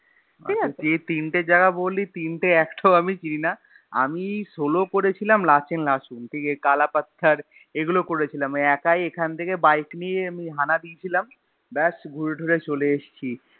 যে তিনটে যায়গা বললি তিনটের একটাও আমি চিনি না আমি solo করেছিলাম লছেন লাচুং ঠিক এই কালা পাত্থর এগুলো করেছিলাম একাই এখান থেকে বাইক নিয়ে আমি হানা‌ দিয়েছিলাম ব্যাস ঘুরে টুরে চলে এসছি‌।